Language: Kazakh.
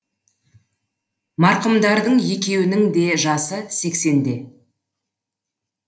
марқұмдардың екеуінің де жасы сексенде